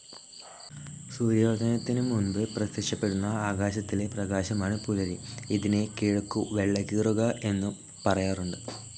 സൂര്യോദയത്തിനു മുൻപ് പ്രത്യക്ഷപ്പെടുന്ന ആകാശത്തിലെ പ്രകാശമാണ് പുലരി.ഇതിനെ കിഴക്കു വെള്ളകീറുക എന്നും പറയാറുണ്ട്.